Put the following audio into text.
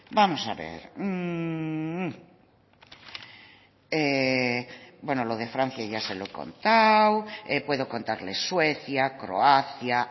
vamos a ver bueno lo de francia ya se lo he contado puedo contarles suecia croacia